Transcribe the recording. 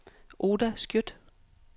Oda Skøtt